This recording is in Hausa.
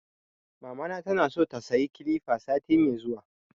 Mamana tana so ta sayi kilifa sati mai zuwa